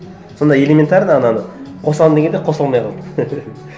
сонда элементарно ананы қосамын дегенде қоса алмай қалды